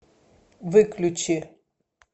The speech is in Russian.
выключи